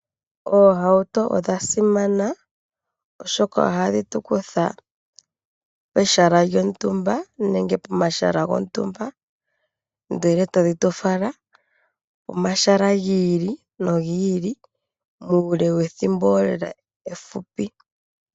Ohauto odhi simana oshoka ohadhi tu kutha pehala lyontumba nenge pomahala gontumba ndele ta dhi tu fala pomahala gii Ili nogi ili muule wethimbo efupi.